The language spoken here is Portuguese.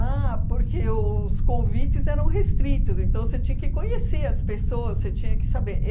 porque os convites eram restritos, então você tinha que conhecer as pessoas, você tinha que saber.